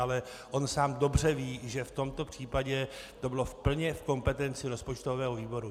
Ale on sám dobře ví, že v tomto případě to bylo plně v kompetenci rozpočtového výboru.